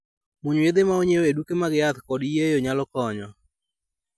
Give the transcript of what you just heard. Muonyo yiedhe ma onyiew e duke mag yath kod yieyo nyalo konyo